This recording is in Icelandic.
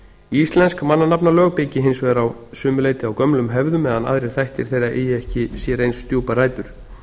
íslensk mannanafnalög byggi hins vegar að sumu leyti á gömlum hefðum meðan aðrir þættir þeirra eigi sér ekki eins djúpar rætur